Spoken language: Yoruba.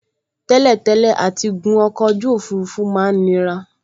Tẹ́lẹ̀tẹ́lẹ̀ àtigun ọkọ̀ ojú òfurufú máa n nira